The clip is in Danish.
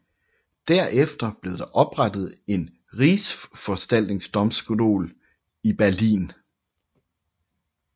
Derefter blev der oprettet en rigsforvaltningsdomstol i Berlin